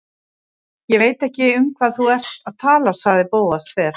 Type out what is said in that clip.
Ég veit ekki um hvað þú ert að tala- sagði Bóas þver